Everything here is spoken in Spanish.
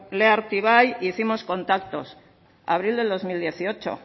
lea artibai e hicimos contactos abril del dos mil dieciocho